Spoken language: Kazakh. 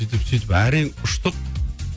сөйтіп сөйтіп әрең ұштық